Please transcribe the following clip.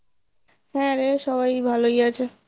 হ্যাঁ রে সবাই ভালোই আছে।